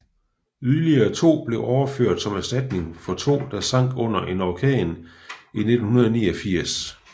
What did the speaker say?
Yderligere to blev overført som erstatning for to der sank under en orkan i 1989